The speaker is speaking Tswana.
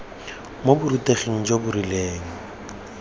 mo boruteging jo bo rileng